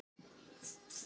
Konan opnaði öskjuna.